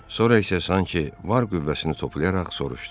Sonra isə sanki var qüvvəsini toplayaraq soruşdu: